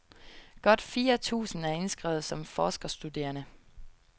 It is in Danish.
Godt fire tusind er indskrevet som forskerstuderende.